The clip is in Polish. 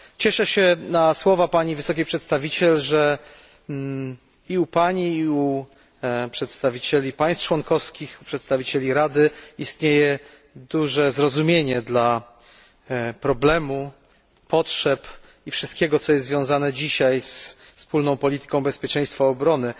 Cieszę się na słowa Pani Wysokiej Przedstawiciel, że i u Pani, i u przedstawicieli państw członkowskich, u przedstawicieli Rady istnieje duże zrozumienie dla problemu, potrzeb i wszystkiego, co jest związane dzisiaj ze Wspólną Polityką Bezpieczeństwa i Obrony.